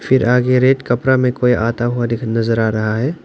फिर आगे रेड कपड़ा में कोई आता हुआ दिख नजर आ रहा है।